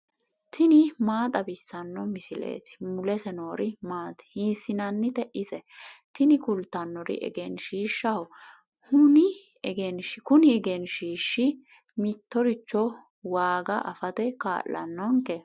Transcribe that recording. tini maa xawissanno misileeti ? mulese noori maati ? hiissinannite ise ? tini kultannori egenshiishshaho. huni egenshiishshi mittoricho waaga afate kaa'lannonke.